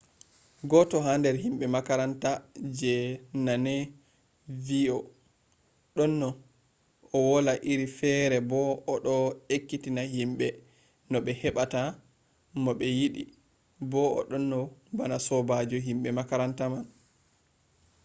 goto ha nder himɓe makaranta je naneno vi ‘o ɗonno wola iri fere bo o ɗo ekkitina himɓe no ɓe heɓata mo ɓe yiɗi bo o ɗonno bana sobajo himɓe makaranta man’